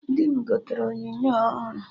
Di m gotere onyonyo ọhụrụ